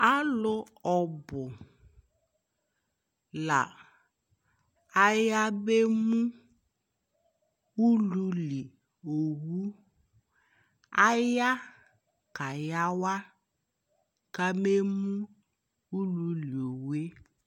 Alʋ ɔbʋ la ayabemʋ ululi owʋ Aya kayawa kabemʋ ululi owu e